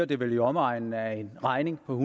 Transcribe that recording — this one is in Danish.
det vel i omegnen af en regning på